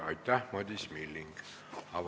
Aitäh, Madis Milling!